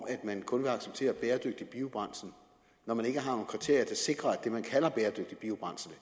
at man kun vil acceptere bæredygtig biobrændsel når man ikke har nogen kriterier der sikrer at det man kalder bæredygtig biobrændsel